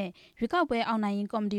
ဲ့ရွေးကောက်ပွဲအောင်နိုင်ရေး ကော်မတီ